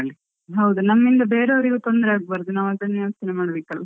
ಹೌದು ನಮ್ಮಿಂದ ಬೇರೆ ಅವ್ರಿಗೆ ತೊಂದ್ರೆ ಆಗ್ಬಾರ್ದು, ನಾವ್ ಅದನ್ನು ಯೋಚ್ನೆ ಮಾಡಬೇಕು ಅಲ.